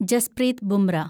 Jasprit Bumrah